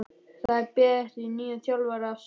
Það er beðið eftir nýjum þjálfara að sunnan.